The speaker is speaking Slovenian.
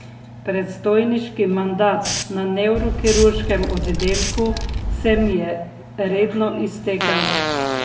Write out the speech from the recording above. Predstojniški mandat na nevrokirurškem oddelku se mi je redno iztekel.